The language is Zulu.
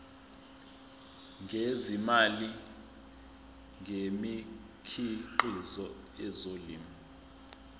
ngezimali ngemikhiqizo yezolimo